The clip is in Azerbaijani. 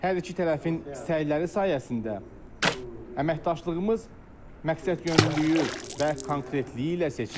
Hər iki tərəfin səyləri sayəsində əməkdaşlığımız məqsədyönlülüyü və konkretliyi ilə seçilir.